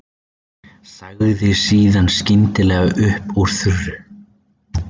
Sagði síðan skyndilega upp úr þurru